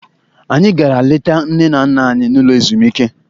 Anyị gara leta nne na nna anyị n'ụlọ ezumike.